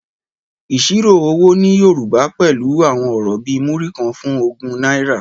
Ìṣirò owó ní Yorùbá pẹ̀lú àwọn ọ̀rọ̀ bíi Múrí kan fún ogún náírà.